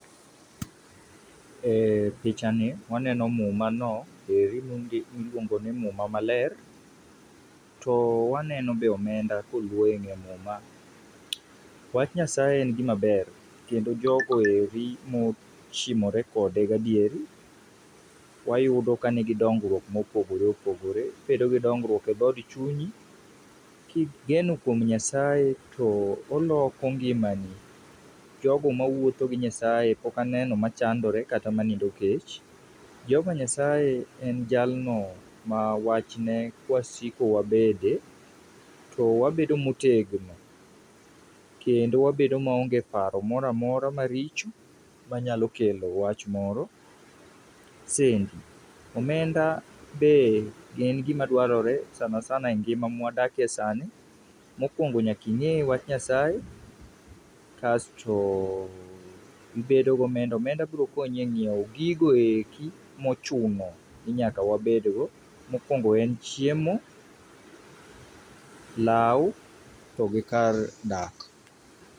Eh pichani waneno mumano eri miluongo ni muma maler to waneno be omenda ka oluo e ng'ee muma. Wach nyasaye en gima ber kendo jogoeri mochimore kode gadieri wayudo ka nigi dongruok mopogore opogore Ibedo gi dongruok e dhood chunyi kigeno kuom nyasaye to oloko ngimani jogo mawuotho gi nyasaye pok aneno machandore kata manindo kech. Jehovah Nyasaye en jalno ma wachne kwasiko wabede to wabedo motegno kendo wabedo ma onge paro moro amora maricho manyalo kelo wach moro. Sendi, omenda be en gima dwarore e ngima mwadakie sani, mokwongo nyaka ing'e wach nyasaye kasto ibedo gomenda omenda biro konyi e nyiewo gikoeki mochuno ni nyaka wabedgno mokwongo en chiemo, law to gi kar dak.